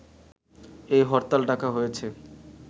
এই হরতাল ডাকা হয়েছে